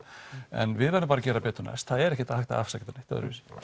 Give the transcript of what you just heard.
en við verðum bara að gera betur næst það er ekki hægt að afsaka þetta neitt öðruvísi